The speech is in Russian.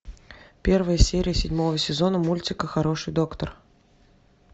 первая серия седьмого сезона мультика хороший доктор